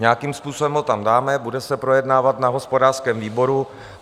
Nějakým způsobem ho tam dáme, bude se projednávat na hospodářském výboru.